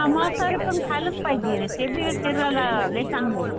हां मांसाहारी पण खायलाच पाहिजे ते बी शरीराला लई चांगलं आहे.